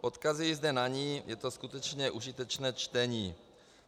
Odkazuji zde na ni, je to skutečně užitečné čtení.